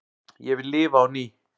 Ég vil lifa á ný